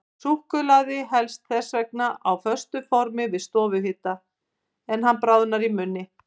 Súkkulaði helst þess vegna á föstu formi við stofuhita, en bráðnar í munni.